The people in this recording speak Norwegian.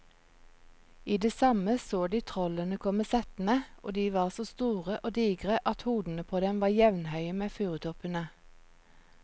I det samme så de trollene komme settende, og de var så store og digre at hodene på dem var jevnhøye med furutoppene.